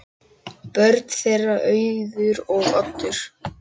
Börn þeirra: Auður og Oddur.